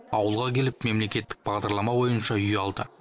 ауылға келіп мемлекеттік бағдарлама бойынша үй алды